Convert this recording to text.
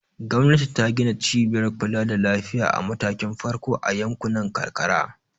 Gwamnati ta gina cibiyar kula da lafiya a matakin farko a yankunan karkara.